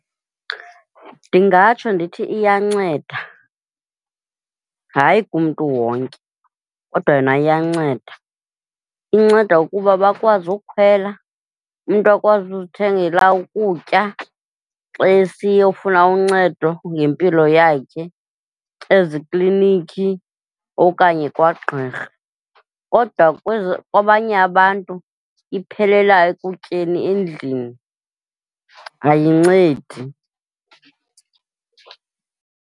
Ndingatsho ndithi iyanceda, hayi kumntu wonke kodwa yona iyanceda. Inceda ukuba bakwazi ukukhwela, umntu akwazi ukuzithengela ukutya xa esiyofuna uncedo ngempilo yakhe eziklinikhi okanye kwagqirha. Kodwa kwezo, kwabanye abantu iphelela ekutyeni endlini, ayincedi.